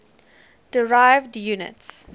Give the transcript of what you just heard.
derived units